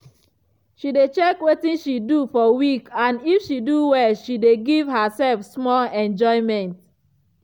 she dey check wetin she do for week and if she do well she dey give herself small enjoyment.